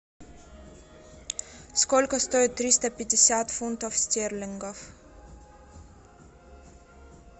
сколько стоит триста пятьдесят фунтов стерлингов